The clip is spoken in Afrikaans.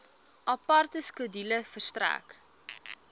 aparte skedule verstrek